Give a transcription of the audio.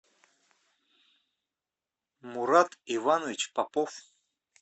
мурат иванович попов